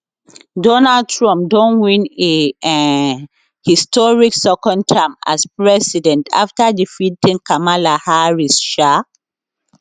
donald trump don win a um historic second term as president afta defeating kamala harris um